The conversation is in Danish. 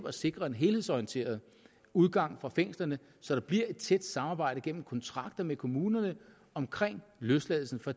at sikre en helhedsorienteret udgang fra fængslerne så der bliver et tæt samarbejde gennem kontrakter med kommunerne omkring løsladelsen for